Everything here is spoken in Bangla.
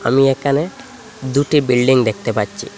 আমি এখানে দুটি বিল্ডিং দেখতে পাচ্ছি।